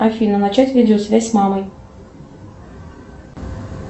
афина начать видеосвязь с мамой